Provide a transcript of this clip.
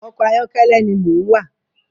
Ọkọ ayọkẹlẹ ni mò ń wà